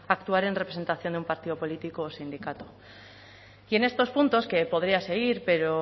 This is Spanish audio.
actuar en representación de un partido político o sindicato y en estos puntos que podría seguir pero